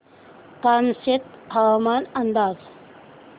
कामशेत हवामान अंदाज